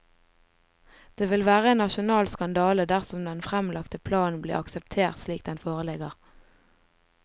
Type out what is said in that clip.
Det vil være en nasjonal skandale dersom den fremlagte planen blir akseptert slik den foreligger.